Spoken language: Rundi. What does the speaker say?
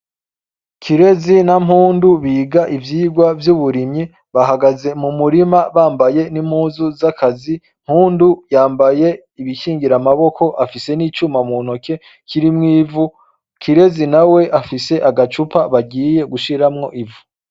Kirezi na Mpundu biga ivyigwa vy'uburimyi. Bahagaze mu murima bambaye n'impuzu z'akazi. Mpundu yambaye ibikingira amaboko, afise n'icuma mu ntoke ririmwo ivu. Kirezi nawe afise agacupa bagiye gushiramwo ivu.